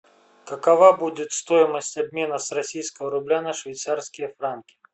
какова будет стоимость обмена с российского рубля на швейцарские франки